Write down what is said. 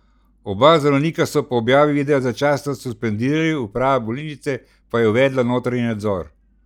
Oba zdravnika so po objavi videa začasno suspendirali, uprava bolnišnice pa je uvedla notranji nadzor.